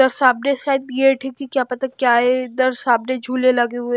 उधर सामने साइड ये डिग्गी क्या पता क्या है इधर सामने झूले लगे हुए --